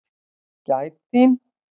Gæt þín.